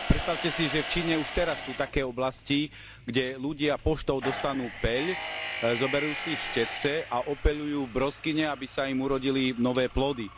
Predstavme si, že v Číne už teraz sú také oblasti, kde ľudia poštou dostanú peľ, zoberú si štetce a opeľujú broskyne, aby sa im urodili nové plody.